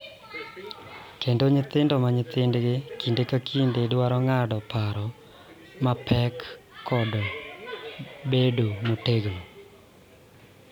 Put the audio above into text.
Kendo nyithindo ma nyithindgi kinde ka kinde dwaro ng�ado paro mapek kod bedo motegno,